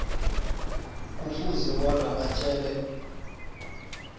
kufuze bona atjele